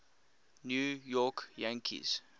new york yankees